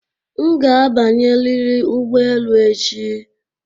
M ga-abanyerịrị ụgbọelu a echi!